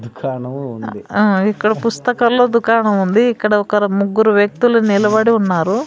ఆ ఇక్కడ పుస్తకాల్లో దుకాణముంది ఇక్కడ ఒకరు ముగ్గురు వ్యక్తులు నిలబడి ఉన్నారు.